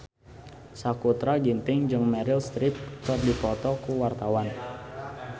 Sakutra Ginting jeung Meryl Streep keur dipoto ku wartawan